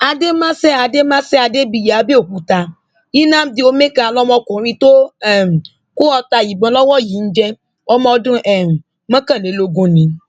àdèmáṣe àdèmáṣe adébíyí àbẹòkúta nnamdi ọmẹkà lọmọkùnrin tó um kọ ọta ìbọn lọwọ yìí ń jẹ ọmọ ọdún um mọkànlélógún ni